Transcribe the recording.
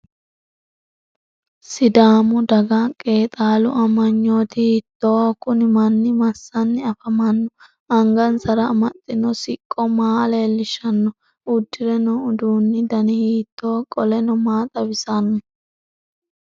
sidaamu daga qeexaalu amanyooti hiittooho? kuni manni massanni afamanno? angansara amaxxino siqqo maa leellishshanno? uddire noo uduunni dani hiittooho qoleno maa xawisanno?